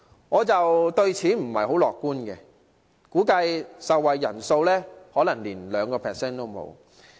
我對此不太樂觀，估計受惠人數可能不足 2%。